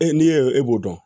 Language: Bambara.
E n'i y'o e b'o dɔn